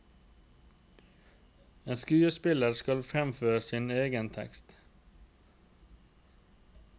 En skuespiller skal fremføre din egen tekst.